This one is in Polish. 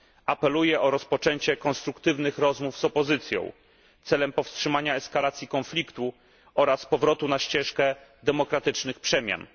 Apeluję o rozpoczęcie konstruktywnych rozmów z opozycją celem powstrzymania eskalacji konfliktu oraz powrotu na ścieżkę demokratycznych przemian.